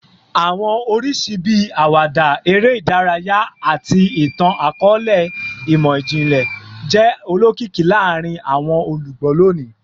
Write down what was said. Awọn oriṣi bii awada, ere idaraya, ati itan-akọọlẹ imọ-jinlẹ jẹ olokiki laarin awọn olugbo loni